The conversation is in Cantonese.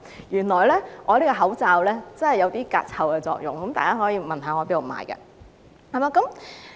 原來我這個口罩有些隔臭作用，大家可以問我在哪裏購買。